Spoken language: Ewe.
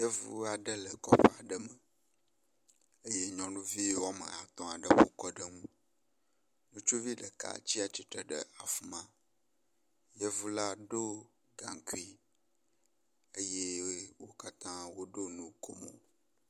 Yevu aɖe le kɔƒe aɖe me eye nyɔnuvi wɔme atɔ ɖe ƒokɔ ɖe nu. Ŋutsuvi ɖeka ɖe tsi atsitre ɖe afi ma. Yevu la ɖo gaŋkui eye wo katã woɖo nukomo.